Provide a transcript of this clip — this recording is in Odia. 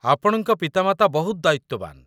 ଆପଣଙ୍କ ପିତାମାତା ବହୁତ ଦାୟିତ୍ୱବାନ